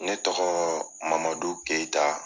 Ne tɔgɔɔ mamadu keyita